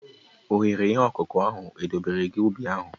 Oghere ihe ọkụkụ ahụ edobere gị ubi ahụ?